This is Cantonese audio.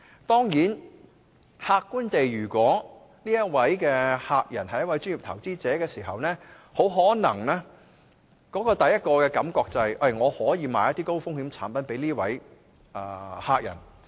當然，客觀來說，如果我的客人是一位專業投資者，很可能我的第一個感覺就是：我可以售賣一些高風險產品給這客人。